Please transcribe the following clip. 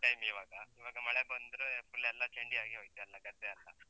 Time ಇವಾಗ, ಇವಾಗ ಮಳೆ ಬಂದ್ರೆ full ಎಲ್ಲ ಚಂಡಿ ಆಗಿ ಹೋಯ್ತೆಲ್ಲ ಗದ್ದೆ ಎಲ್ಲಾ.